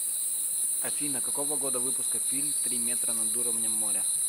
афина какого года выпуска фильм три метра над уровнем моря